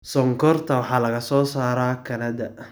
Sonkorta waxaa laga soo saaraa kanada.